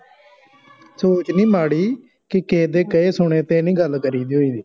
ਸੋਚ ਨਹੀਂ ਮਾੜੀ ਕੇ ਕਿਹੇਦੇ ਕਹੇ ਸੁਨੇ ਤੇ ਨਹੀਂ ਗੱਲ ਕਰੀ ਦੀ ਹੋਈ ਦੀ